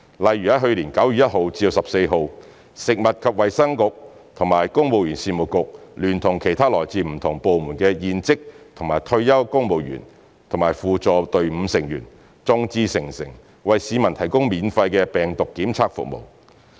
例如去年9月1日至14日，食物及衞生局與公務員事務局聯同其他來自不同部門的現職及退休公務員和輔助隊伍成員，眾志成城，為市民提供免費的病毒檢測服務。